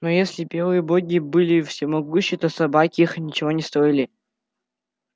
но если белые боги были всемогущи то собаки их ничего не стоили